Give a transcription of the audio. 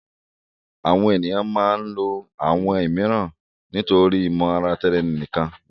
Awọn eniyan maa ǹ lo awọn miiran nitori imotaraeninikan wọn